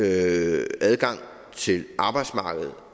adgang til arbejdsmarkedet